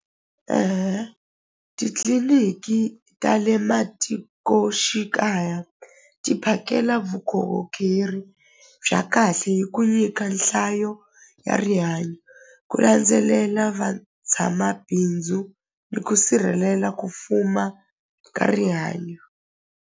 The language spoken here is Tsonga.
Titliliniki ta le matikoxikaya ti phakela vukorhokeri bya kahle hi ku nyika nhlayo ya rihanyo ku landzelela va tshama bindzu ni ku sirhelela ku fuma ka rihanyo.